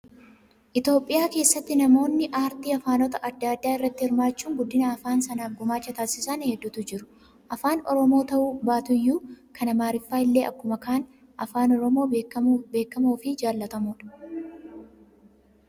Itoophiyaa keessatti namoonni aartii afaanota adda addaa irratti hirmaachuun guddina afaana sanaaf gumaacha taasisan hedduutu jiru. Afaan oromoo ta'uu baatuyyuu kan amaariffaa illee akkuma kan afaan oromoo beekamoo fi jaallatamoodha.